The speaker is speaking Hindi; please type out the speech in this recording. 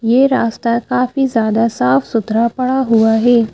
यह रास्ता काफी ज्यादा साफ-सुथरा पड़ा हुआ है ।